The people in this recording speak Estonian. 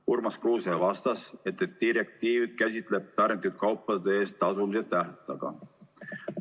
Urmas Kruuse vastas, et direktiiv käsitleb tarnitud kaupade eest tasumise tähtaega.